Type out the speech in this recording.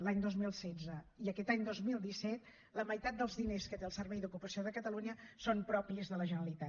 l’any dos mil setze i aquest any dos mil disset la meitat dels diners que té el servei d’ocupació de catalunya són propis de la generalitat